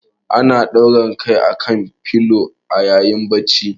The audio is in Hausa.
Ana ɗaura kai akan filo a ayi bacci.